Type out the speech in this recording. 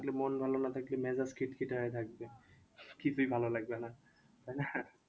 মন ভালো না থাকলে মেজাজ খিটখিটে হয়ে থাকবে কিছুই ভালো লাগবে না তাই না?